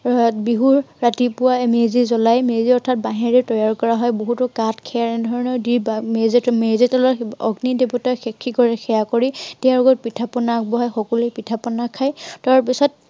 বিহুৰ ৰাতিপুৱাই মেজি জ্বলাই। মেজি অৰ্থাৎ বাঁহেৰে তৈয়াৰ কৰা হয়। বহুতো কাঠ খেৰ এনেধৰনৰ দি মেজি অগ্নি দেৱতাক সাক্ষী কৰি সেৱা কৰি তেওঁলৈ পিঠা পনা আগবঢ়াই, সকলোৱে পিঠা-পনা খায়।